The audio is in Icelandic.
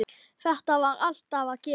Þetta var alltaf að gerast.